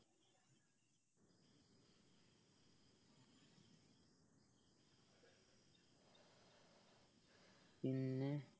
പിന്നെ